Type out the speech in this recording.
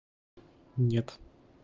нет